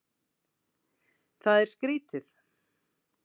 Það er skrýtið.